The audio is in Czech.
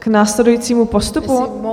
K následujícímu postupu?